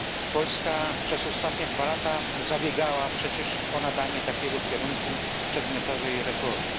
Polska przez ostatnie dwa lata zabiegała przecież o nadanie takiego kierunku przedmiotowej reformie.